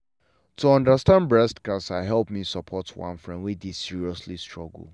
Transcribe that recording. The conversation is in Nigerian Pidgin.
to understand breast cancer help me support one friend wey dey seriously struggle.